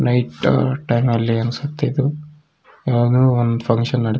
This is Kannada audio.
ನೈಟ್ ಟೈಮ್ ಅಲ್ಲಿ ಅನ್ಸುತ್ತೆ ಇದು ಯಾವ್ದೋ ಒಂದು ಫ್ಯಾಂಕ್ಷನ್ ನಡಿ --